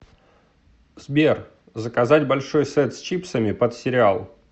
сбер заказать большой сет с чипсами под сериал